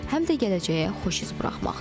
Həm də gələcəyə xoş iz qoymaqdır.